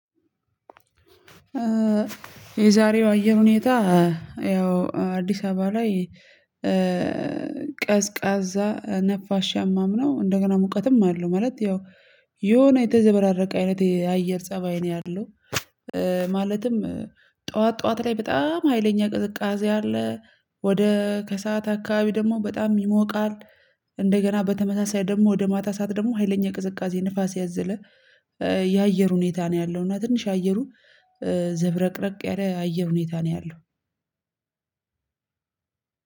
የዛሬው አየር ሁኔታ ያው አዲስ አበባ ላይ ቀዝቃዛ ነፋሻማም ነው እንደገና ሙቀትም አለው ማለት ያው የሆነ የተዘበራረቀ አይነት የአየር ፀባይ ነው ያለው። ማለትም ጠዋት ጠዋት ላይ በጣም ሀይለኛ ቅዝቃዜ አለ ወደ ከሰአት አካባቢ ደግሞ በጣም ይሞቃል። እንደገና በተመሳሳይ ደግሞ ወደ ማታ ሰዓት ደግሞ ሀይለኛ ቅዝቃዜ ንፋስ ያዘለ የአየር ሁኔታ ነው ያለው። እና ትንሽ አየሩ ዘብረቅረቅ ያለ አየር ሁኔታ ነው ያለው።